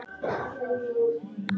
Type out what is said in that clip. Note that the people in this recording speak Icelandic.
Geggjuð form og litir.